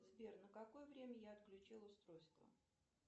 сбер на какое время я отключила устройство